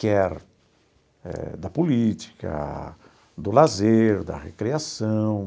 quer da política, do lazer, da recreação.